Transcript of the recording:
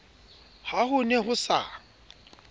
ha ho ne ho sa